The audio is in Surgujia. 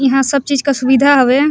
इहा सब चीज़ का सुविधा हवे।